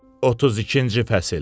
32-ci fəsil.